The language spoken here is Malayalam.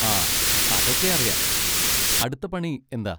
ആ അതൊക്കെ അറിയാം. അടുത്ത പണി എന്താ?